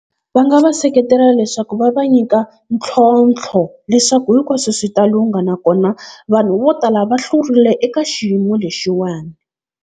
Va nga va seketela leswaku va va nyika ntlhontlho, leswaku hinkwaswo swi ta lungha na kona vanhu vo tala va hlurile eka xiyimo lexiwani.